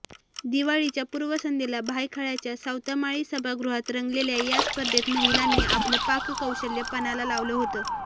दिवाळीच्या पूर्वसंध्येला भायखळ्याच्या सावतामाळी सभागृहात रंगलेल्या या स्पर्धेत महिलांनी आपलं पाककौशल्य पणाला लावलं होतं